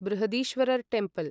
Brihadeeswarar temple